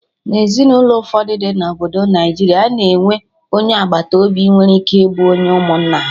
Na Ezinụlọ ụfọdụ dị na obodo Naijiria, a na-enwe onye agbata obi nwere ike ịbụ onye ụmụnna ha